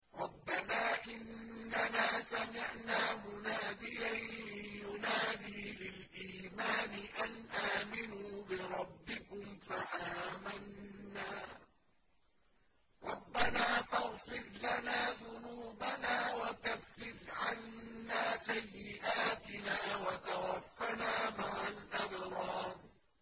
رَّبَّنَا إِنَّنَا سَمِعْنَا مُنَادِيًا يُنَادِي لِلْإِيمَانِ أَنْ آمِنُوا بِرَبِّكُمْ فَآمَنَّا ۚ رَبَّنَا فَاغْفِرْ لَنَا ذُنُوبَنَا وَكَفِّرْ عَنَّا سَيِّئَاتِنَا وَتَوَفَّنَا مَعَ الْأَبْرَارِ